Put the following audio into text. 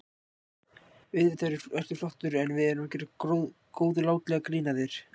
Auðvitað ertu flottur, en við vorum að gera góðlátlegt grín að þér.